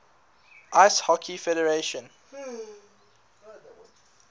ice hockey federation